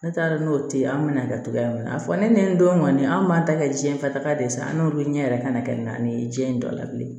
Ne t'a dɔn n'o tɛ ye an mɛna kɛ togoya min na a fɔ ne ni n denw kɔni an b'a ta kɛ jiɲɛ fataaga de san n'olu ɲɛ yɛrɛ kana kɛ na ni diɲɛ in dɔ la bilen